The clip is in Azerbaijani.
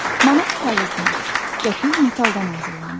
Manat kağızdan, qəpik metaldan hazırlanır.